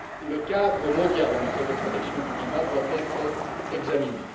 le cadre mondial en matière de protection du climat doit être examiné.